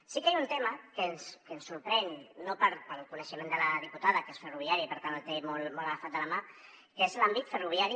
sí que hi ha un tema que ens sorprèn pel coneixement de la diputada que és ferroviari i per tant el té molt agafat de la mà que és l’àmbit ferroviari